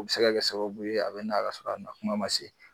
U bɛ se ka kɛ sababu ye a bɛ na ka sɔrɔ a na kuma man se.